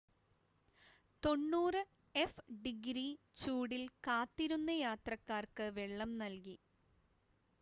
90എഫ്-ഡിഗ്രി ചൂടിൽ കാത്തിരുന്ന യാത്രക്കാർക്ക് വെള്ളം നൽകി